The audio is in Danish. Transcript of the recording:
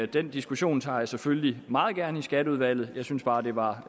den diskussion tager jeg selvfølgelig meget gerne i skatteudvalget jeg synes bare det var